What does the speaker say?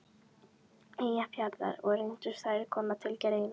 Eyjafjarðar, og reyndust þær koma til greina.